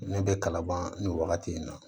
Ne bɛ kalaban nin wagati in na